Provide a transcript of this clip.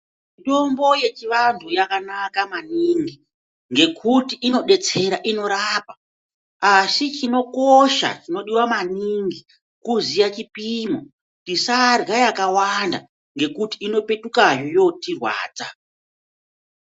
Mutombo yechivantu yakanaka maningi ngekuti inobatsira, inorapa. Asi chinosha chinodetsera maningi kuziya chipimo tisadyra yakawanda ngekuti inopetukazve yotirwadza.